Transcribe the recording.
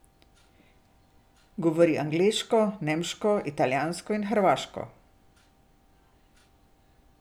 Govori angleško, nemško, italijansko in hrvaško.